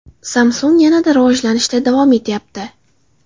Samsung yanada rivojlanishda davom etyapti.